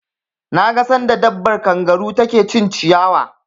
Na ga sanda dabbar kangaru ta ke cin ciyawa